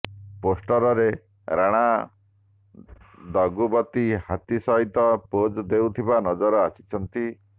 ପୋଷ୍ଟରରେ ରାଣା ଦଗୁବତି ହାତୀ ସହିତ ପୋଜ ଦେଉଥିବା ନଜର ଆସିଛନ୍ତି